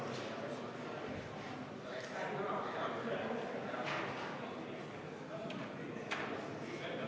Muudatusettepaneku nr 8 esitaja on Aivar Sõerd, juhtivkomisjon on jätnud arvestamata.